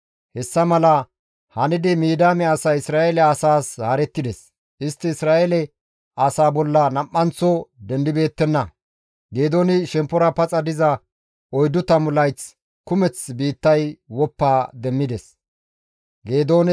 Hessa mala hanidi Midiyaame asay Isra7eele asaas haarettides; istti Isra7eele asaa bolla nam7anththo dendibeettenna. Geedooni shemppora paxa diza oyddu tammu layth kumeth biittay woppa demmides.